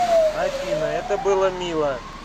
афина это было мило